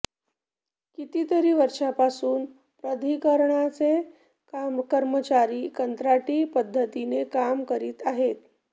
कितीतरी वर्षांपासून प्राधिकरणाचे कर्मचारी कंत्राटी पद्धतीने काम करीत आहेत